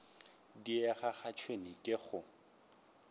diega ga tšhwene ke go